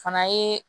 Fana ye